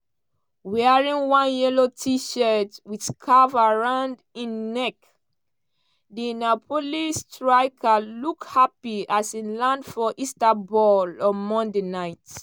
wearing one yellow t-shirt wit scarf around im neck di napoli striker look happy as e land for istanbul on monday night.